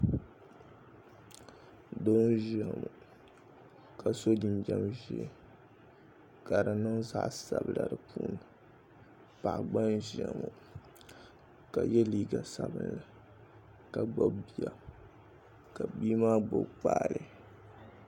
doo n-ʒia ŋɔ ka so jinjam ʒee ka di niŋ zaɣ' sabila di puuni paɣa gba n-ʒia ŋɔ ka ye liiga sabilinli ka gbubi bia ka bia maa gbubi kpaale